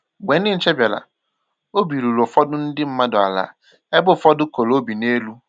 Mgbe ndị nche bịara, obi ruru ụfọdụ ndị mmadụ ala ebe ụfọdụ koro obi n'elu